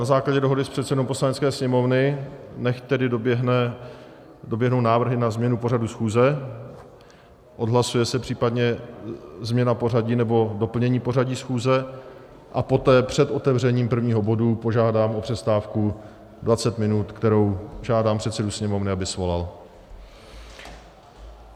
Na základě dohody s předsedou Poslanecké sněmovny nechť tedy doběhnou návrhy na změnu pořadu schůze, odhlasuje se případně změna pořadu nebo doplnění pořadu schůze a poté před otevřením prvního bodu požádám o přestávku 20 minut, kterou žádám předsedu Sněmovny, aby svolal.